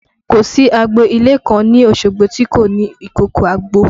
Kò sí agbo ilé kan ní Osogbo tí kò ní ìkòkò àgbò